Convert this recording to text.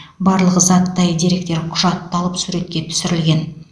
барлық заттай деректер құжатталып суретке түсірілген